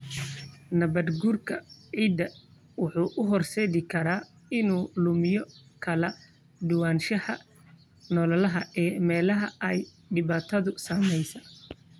Nabaadguurka ciidda wuxuu u horseedi karaa inuu lumiyo kala duwanaanshaha noolaha ee meelaha ay dhibaatadu saameysey.